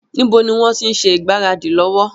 Níbo ni wọn ti ń ṣe ìgbáradì lọ́wọ́?